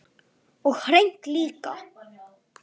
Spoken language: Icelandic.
Og hreint líka!